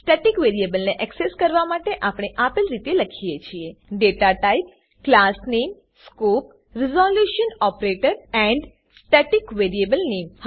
static વેરીએબલને access કરવા માટે આપણે આપેલ રીતે લખીએ છીએ datatype class name scope resolution operator and static variable નામે